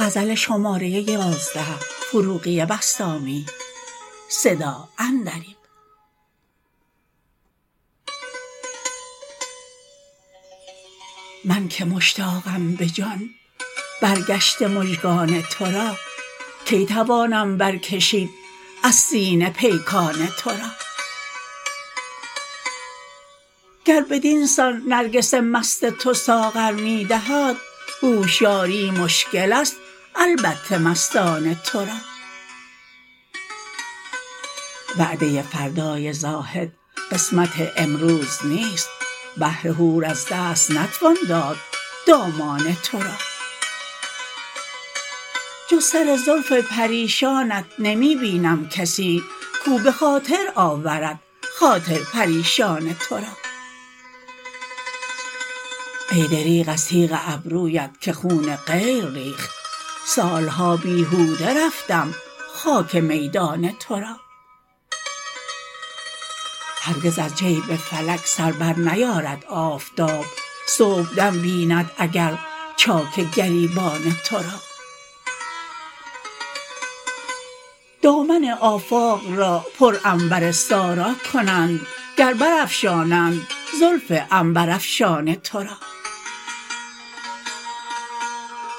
من که مشتاقم به جان برگشته مژگان تو را کی توانم برکشید از سینه پیکان تو را گر بدینسان نرگس مست تو ساغر می دهد هوشیاری مشکل است البته مستان تو را وعده فردای زاهد قسمت امروز نیست بهر حور از دست نتوان داد دامان تو را جز سر زلف پریشانت نمی بینم کسی کاو به خاطر آورد خاطر پریشان تو را ای دریغ از تیغ ابرویت که خون غیر ریخت سالها بیهوده رفتم خاک میدان تو را هرگز از جیب فلک سر بر نیارد آفتاب صبح دم بیند اگر چاک گریبان تو را دامن آفاق را پر عنبر سارا کنند گر بر افشانند زلف عنبر